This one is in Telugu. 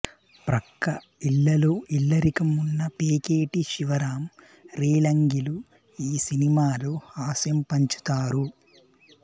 ప్రక్క ఇళ్ళలో ఇల్లరికం ఉన్న పేకేటి శివరాం రేలంగిలు ఈ సినిమాలో హాస్యం పంచుతారు